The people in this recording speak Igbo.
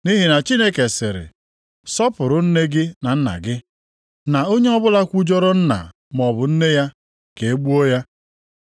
Nʼihi na Chineke sịrị, ‘Sọpụrụ nne gị na nna gị,’ + 15:4 \+xt Ọpụ 20:12; Dit 5:16\+xt* na, ‘onye ọbụla kwujọrọ nna maọbụ nne ya ka e gbuo ya. + 15:4 Onye ahụ aghaghị ịnwụ ’+ 15:4 \+xt Ọpụ 21:17; Lev 20:9\+xt*